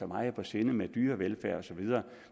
meget på sinde med dyrevelfærd osv